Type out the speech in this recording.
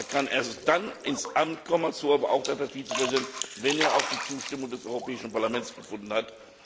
Er kann erst dann ins Amt kommen, wie aber auch der Vizepräsident, wenn er die Zustimmung des Europäischen Parlaments gefunden hat.